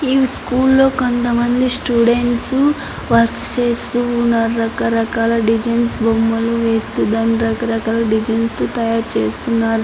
ఈ స్కూల్ లో కొంత మంది స్టూడెంట్స్ వర్క్స్ చేస్తూ ఉన్నారు రకరకాల డిజైన్స్ బొమ్మలు వేస్తూ దాన్ని రకరకాల డిజైన్స్ తో తయారు చేస్తూ ఉన్నారు.